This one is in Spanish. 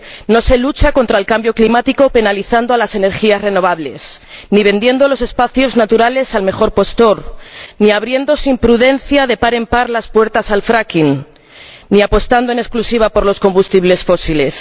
No se lucha contra el cambio climático penalizando a las energías renovables, ni vendiendo los espacios naturales al mejor postor, ni abriendo sin prudencia, de par en par, las puertas al fracking ni apostando en exclusiva por los combustibles fósiles.